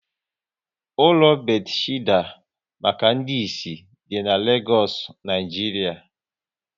Ụlọ Bethesda maka ndị isi dị n'Legoosu, Naijiria